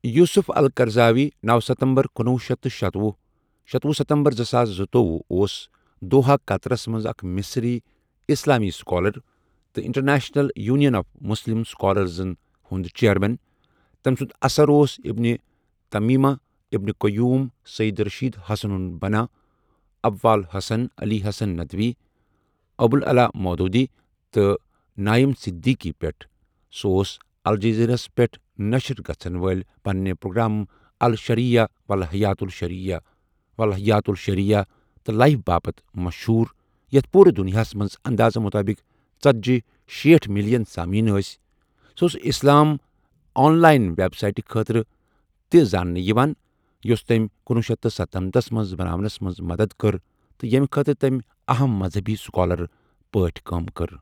Yusuf Al Qaradawi نوَ سَتَمبَر کنُۄہ شیتھ تہٕ شتۄہَ، شتۄہَ سَتَمبَر زٕساس زُتووُہ اوس دوحا قطرس مَنٛز اَکھ مصری اسلامی اسکالر تہٕ انٹرنیشنل یونین آف مسلم اسکالرزن ہنٛد چیرمین تمہ سُنٛد اثر اوس Ibn Taymiyyah Ibn Qayyim Syed Rashid Hassan Al Banna, Abul Hasan Ali Hasan Nadwi, Abul Ala Maududi تہٕ نایم صدیقی پؠٹھ سُہ اوس الجزیرہ ہس پؠٹھ نشر گژھن وٲلۍ پننہ پروگرام الشریعہ والحیاۃ الشریعہ و الحیاہ الشریعہ تہٕ لائف باپتھ مشہوٗر یتَھ پورٕ دنیاہَس مَنٛز اندازٕ مُطٲبق ژٔتجی۔ شیتٹھ ملین سامعین ٲسؠ سُہ اوس اِسلام آن لایِن ویب سایٹہ خٲطرٕ تہ زاننہٕ یوان یۄس تٔمۍ کنۄہ شیتھ تہٕ سَتنمتھ مَنٛز بناونَس مَنٛز مدتھ کٔر تہٕ ییٚمہ خٲطرٕ تٔمۍ اہم مذہبی سکالر پٲٹھۍ کٲم کٔر۔